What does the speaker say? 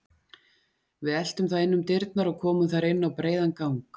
Við eltum það inn um dyrnar og komum þar inn á breiðan gang.